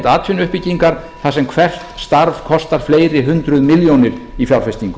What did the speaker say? atvinnuuppbyggingar þar sem hvert starf kostar fleiri hundruð milljónir í fjárfestingu